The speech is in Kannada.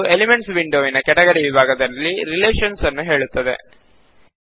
ಅದು ಎಲಿಮೆಂಟ್ಸ್ ವಿಂಡೋವಿನ ಕೆಟಗರಿ ವಿಭಾಗದಲ್ಲಿ ರಿಲೇಷನ್ಸ್ ನ್ನು ಹೇಳುತ್ತದೆ